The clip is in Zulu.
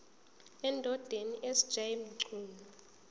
endodeni sj mchunu